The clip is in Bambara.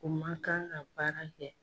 O man kan ka baara kɛ.